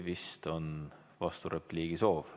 Vist on vasturepliigi soov.